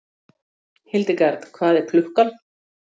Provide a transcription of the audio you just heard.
Hildegard, hvað er klukkan?